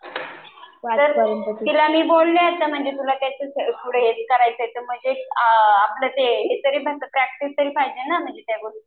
तर तिला मी बोलले तुला यांच्यात पुढं करायचं आहे तर मग आपलं ते हे तरी पाहिजे ना प्रॅक्टिस तरी त्या गोष्टीची.